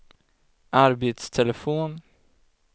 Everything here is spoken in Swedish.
arbetstelefon